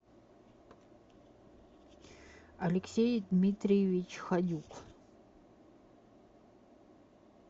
алексей дмитриевич ходюк